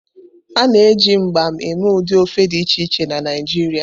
A na-eji mgbam eme ụdị ofe dị iche iche na Naijiria.